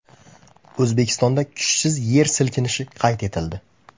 O‘zbekistonda kuchsiz yer silkinishi qayd etildi.